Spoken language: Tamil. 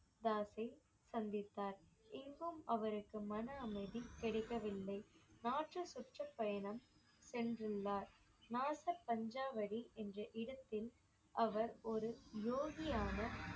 தாஸை சந்தித்தார் இங்கும் அவருக்கு மன அமைதி கிடைக்கவில்லை நாற்று சுற்ற பயணம் சென்றுள்ளார் நாச பஞ்சாவடி என்ற இடத்தில் அவர் ஒரு யோகியான